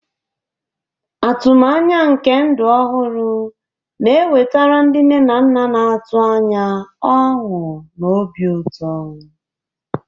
Atụmanya nke ndụ ọhụrụ na-ewetara ndị nne na nna na-atụ anya ọṅụ na obi ụtọ.